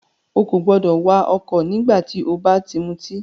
Ó kò gbọdọ̀ wà ọ̀kọ̀ nígbà tí o bá ti mutí!